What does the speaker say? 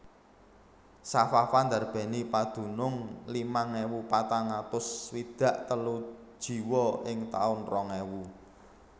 Safafa ndarbèni padunung limang ewu patang atus swidak telu jiwa ing taun rong ewu